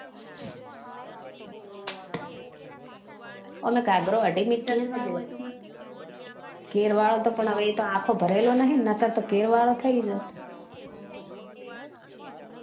અને એ ઘાગરો અઢી meter હોય ઘેર વાળો તો પણ આખો ભરે લો નહિ ને નકર તો ઘેર વાળો થઇ જોતે